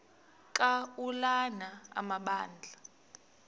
ka ulana amabandla